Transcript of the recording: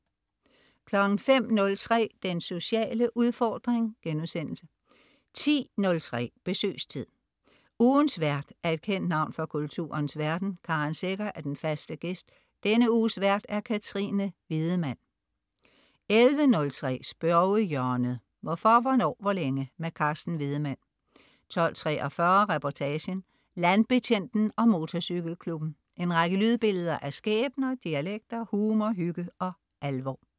05.03 Den sociale udfordring* 10.03 Besøgstid. Ugens vært er et kendt navn fra kulturens verden. Karen Secher er den faste "gæst". Denne uges vært: Katrine Wiedemann 11.03 Spørgehjørnet. Hvorfor, hvornår, hvor længe? Carsten Wiedemann 12.43 Reportagen: Landbetjenten og motorcykelklubben. En række lydbilleder af skæbner, dialekter, humor, hygge og alvor